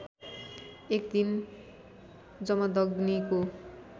एक दिन जमदग्नीको